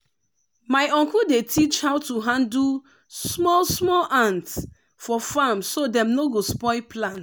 my uncle dey teach how to handle small small ant for farm so dem no go spoil plant.